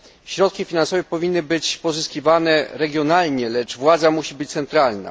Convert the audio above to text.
Środki finansowe powinny być pozyskiwane regionalnie, lecz władza musi być centralna.